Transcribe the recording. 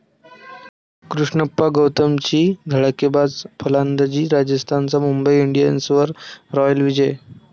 कृष्णप्पा गौतमची धडाकेबाज फलंदाजी, राजस्थानचा मुंबई इंडियन्सवर 'रॉयल विजय'